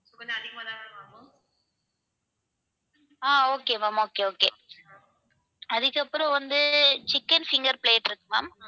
ஆஹ் okay ma'am okay okay அதுக்கப்புறம் வந்து chicken finger plate இருக்கு ma'am